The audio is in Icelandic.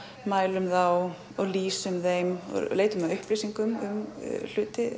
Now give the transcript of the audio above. mælum þá og lýsum þeim leitum að upplýsingum um hluti